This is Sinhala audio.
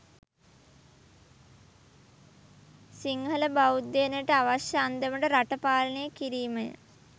සිංහල බෞද්ධයනට අවශ්‍ය අන්දමට රට පාලනය කිරීම ය